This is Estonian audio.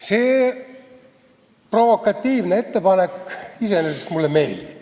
See provokatiivne ettepanek iseenesest mulle meeldib.